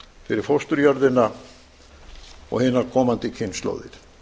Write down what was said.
fyrir fósturjörðina og enar komandi kynslóðir